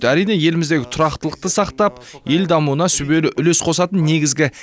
әрине еліміздегі тұрақтылықты сақтап ел дамуына сүбелі үлес қосатын негізгі